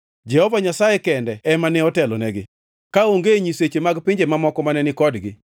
Jehova Nyasaye kende ema ne otelonegi; kaonge nyiseche mag pinje mamoko mane ni kodgi.